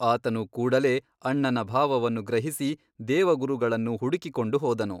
ಆತನು ಕೂಡಲೇ ಅಣ್ಣನ ಭಾವವನ್ನು ಗ್ರಹಿಸಿ ದೇವಗುರುಗಳನ್ನು ಹುಡುಕಿಕೊಂಡು ಹೋದನು.